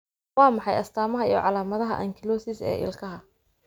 Waa maxay astamaha iyo calaamadaha Ankylosis ee ilkaha?